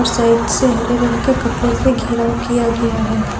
और साइड से हरे रंग के कपड़े से घिराव किया गया है।